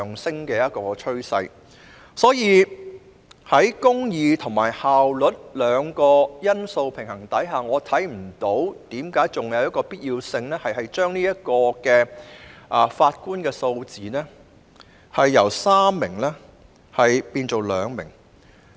所以，在公義和效率兩項因素的平衡下，我看不到還有何必要把上訴法庭法官的數字由3名修改至2名。